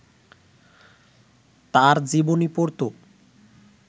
তাঁর জীবনী পড়ত